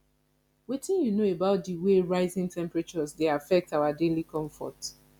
wetin you know about di way rising temperatures dey affect our daily comfort